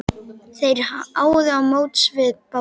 Þeir áðu á móts við Bólu.